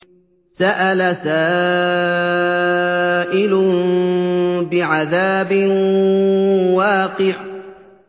سَأَلَ سَائِلٌ بِعَذَابٍ وَاقِعٍ